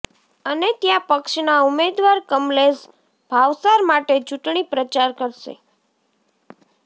અને ત્યાં પક્ષના ઉમેદવાર કમલેશ ભાવસાર માટે ચૂંટણી પ્રચાર કરશે